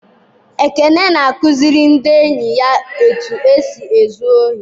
Ekene na-akụziri ndị enyi ya etu esi ezu ohi.